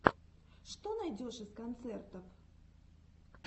что найдешь из концертов